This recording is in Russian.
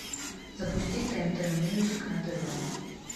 запусти тнт мьюзик на тв